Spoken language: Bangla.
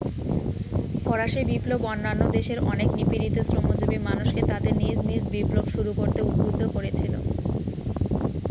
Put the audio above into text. ফরাসী বিপ্লব অন্যান্য দেশের অনেক নিপীড়িত শ্রমজীবী মানুষকে তাদের নিজ নিজ বিপ্লব শুরু করতে উদ্বুদ্ধ করেছিল